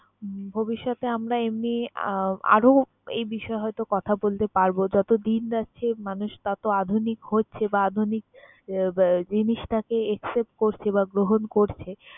ভবিষ্যতে আমরা এমনি আহ আরো এই বিষয়ে হয়তো কথা বলতে পারব। যতদিন যাচ্ছে মানুষ তত আধুনিক হচ্ছে বা আধুনিক আহ জিনিসপাতি accept করছে বা গ্রহণ করছে।